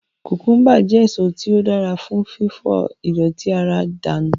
Kùkùḿbà jẹ́ èso tí ó dára fún fífọ ìdọ̀tí ara dànù